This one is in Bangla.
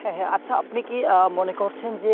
হ্যাঁ হ্যাঁ আচ্ছা আপনি কি আহ মনে করছেন যে